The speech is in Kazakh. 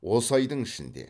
осы айдың ішінде